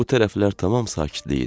Bu tərəflər tamam sakitlik idi.